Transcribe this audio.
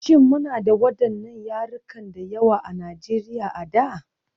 Shin muna da waɗannan yarukan da yawa a Najeriya a da?